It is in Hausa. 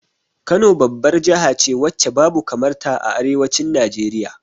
Kano babbar jahace wacce babu kamar ta a arewacin Najeriya